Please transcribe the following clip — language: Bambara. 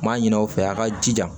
N m'a ɲini aw fɛ yan a ka jija